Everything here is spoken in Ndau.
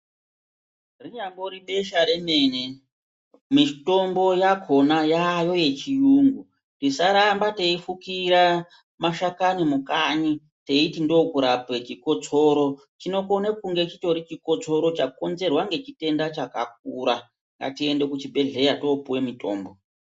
Rinyambori besha remene, mitombo yakhona yaayo yechiyungu. Tisaramba teifukira mashakani mukanyi teiti ndokurape chikotsoro, chinokone kunge chitori chikotsoro chakonzerwa ngechitenda chakakura. Ngatiende kuchibhedhlera topuwe mitombo.